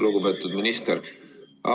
Lugupeetud minister!